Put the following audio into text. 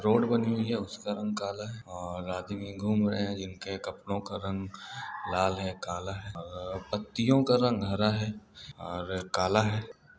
Road बनी हुई है उसका रंग काला है और आदमी घूम रहे हैंजिनके कपड़ों का रंग लाल है काला है और पत्तियों का रंग हरा है और काला है।